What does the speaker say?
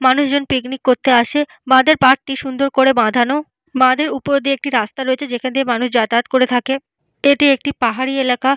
মানুষজন পিকনিক করতে আসে। বাঁধের পাড় কি সুন্দর করে বাঁধান। বাঁধের উপর দিয়ে একটি রাস্তা রয়েছে যেখানে মানুষ যাতায়াত করে থাকেন। এটি একটি পাহাড়ি এলাকা।